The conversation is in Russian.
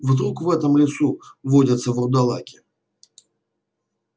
вдруг в этом лесу водятся вурдалаки